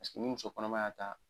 Ni muso kɔnɔma y'a ta